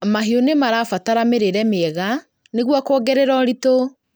Mahiũ nĩmarabatara mĩrĩre mĩega nĩguo kuongerea ũritũ